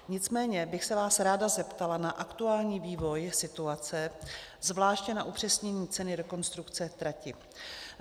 Nicméně bych se vás ráda zeptala na aktuální vývoj situace, zvláště na upřesnění ceny rekonstrukce trati.